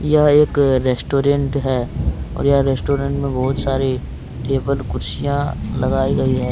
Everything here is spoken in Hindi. यह एक रेस्टोरेंट है और यह रेस्टोरेंट में बहुत सारे टेबल कुर्सियां लगाई गई है।